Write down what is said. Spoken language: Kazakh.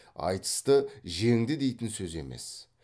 айтысты жеңді дейтін сөз емес